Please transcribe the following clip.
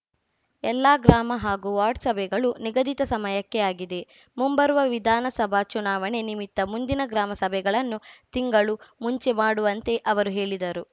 ಎಲ್ಲಾ ಗ್ರಾಮ ಹಾಗೂ ವಾರ್ಡ್‌ ಸಭೆಗಳು ನಿಗದಿತ ಸಮಯಕ್ಕೆ ಆಗಿದೆ ಮುಂಬರುವ ವಿಧಾನಸಭಾ ಚುನಾವಣೆ ನಿಮಿತ್ತ ಮುಂದಿನ ಗ್ರಾಮ ಸಭೆಗಳನ್ನು ತಿಂಗಳು ಮುಂಚೆ ಮಾಡುವಂತೆ ಅವರು ಹೇಳಿದರು